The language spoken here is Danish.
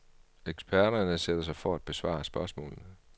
Eksperterne sætter sig for at besvare spørgsmålene.